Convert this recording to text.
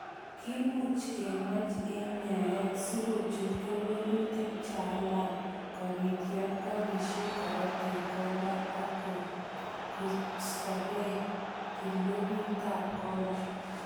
Kimuch kemach enyet sikochul keweleutik chealan kobit yon kobisyi korotik konda ak kostokei kilopitab konda.